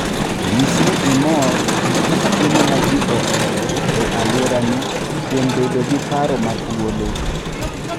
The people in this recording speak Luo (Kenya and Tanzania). Nyis ni imor gi kit chiemo ma ji ohero e alworani kuom bedo gi paro ma thuolo.